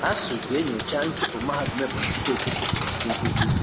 ASUU ga-enyocha nchụpụ mahadum Ebonyi steeti chụpụrụ ndị nkuzi